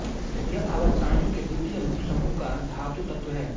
यह आवर्तसारणी के द्वितीय मुख्य समूह का धातु तत्व है